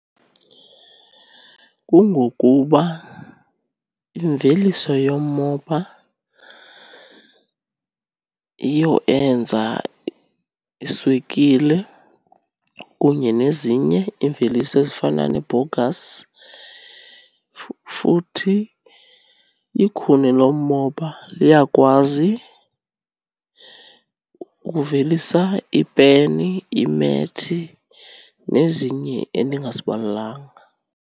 Kungokuba imveliso yomoba yiyo eyenza iswekile kunye nezinye iimveliso ezifana nebhowugasi, futhi ikhuni lomoba liyakwazi ukuvelisa iipeni, iimethi nezinye endingazibalanga.